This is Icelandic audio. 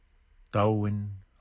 dáinn